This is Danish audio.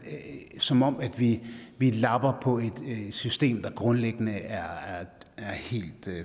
som om vi vi lapper på et system der grundlæggende er er helt